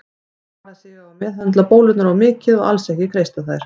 Vara sig á að meðhöndla bólurnar of mikið og alls ekki kreista þær.